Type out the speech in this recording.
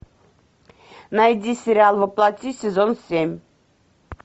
найди сериал во плоти сезон семь